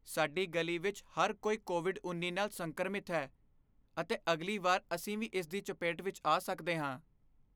ਸਾਡੀ ਗਲੀ ਵਿੱਚ ਹਰ ਕੋਈ ਕੋਵਿਡ ਉੱਨੀ ਨਾਲ ਸੰਕਰਮਿਤ ਹੈ ਅਤੇ ਅਗਲੀ ਵਾਰ ਅਸੀਂ ਵੀ ਇਸ ਦੀ ਚਪੇਟ ਵਿਚ ਆ ਸਕਦੇ ਹਾਂ